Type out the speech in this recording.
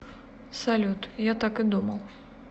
салют я так и думал